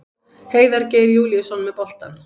Heiðar Geir Júlíusson með boltann.